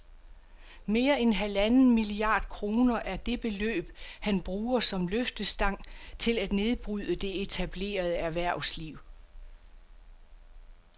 Mere end halvanden milliard kroner er det beløb, han bruger som løftestang til at nedbryde det etablerede erhvervsliv